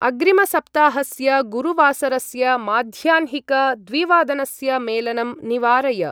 अग्रिमसप्ताहस्य गुरुवासरस्य माध्याह्निक-द्विवादनस्य मेलनं निवारय।